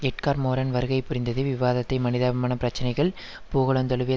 Edgar Morin வருகை புரிந்தது விவாதத்தை மனிதாபிமான பிரச்சினைகள் பூகோளந்தழுவிய